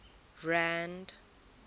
rand